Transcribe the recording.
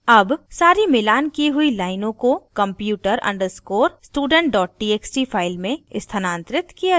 अब सारी मिलान की हुई लाइनों को computer _ student txt file में स्थानांतरित किया जायेगा